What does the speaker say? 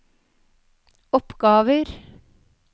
oppgaver